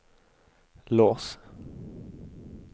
lås